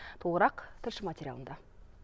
толығырақ тілші материалында